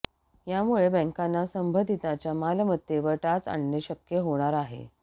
यामुळे बँकांना संबंधितांच्या मालमत्तेवर टाच आणणे शक्य होणार आहे